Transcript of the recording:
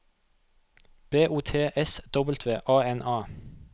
B O T S W A N A